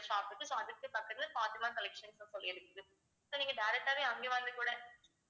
shop இருக்கு so அதுக்கு பக்கத்துல ஃபாத்திமா கலெக்ஷன்ஸ்னு சொல்லி இருக்குது so நீங்க direct ஆவே அங்கே வந்து கூட